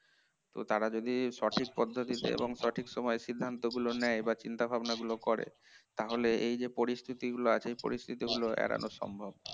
তো তারা যদি সঠিক পদ্ধতিতে এবং সঠিক সময়েই সিদ্ধান্তগুলো নেয় বা চিন্তা ভাবনা গুলো করে তো এই পরিস্থিতি গুলো যে আছে এগুলি এড়ানো সম্ভব